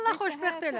Allah xoşbəxt eləsin.